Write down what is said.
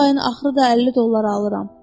Bu ayın axırı da 50 dollar alıram.